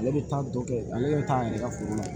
Ale bɛ taa dɔ kɛ ale bɛ taa an yɛrɛ ka foro la